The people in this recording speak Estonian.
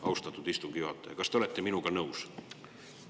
Austatud istungi juhataja, kas te olete minuga nõus?